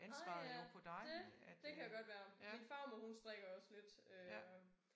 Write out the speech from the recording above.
Ah ja det det kan godt være min farmor hun strikker også lidt øh